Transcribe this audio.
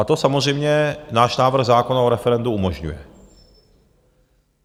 A to samozřejmě náš návrh zákona o referendu umožňuje.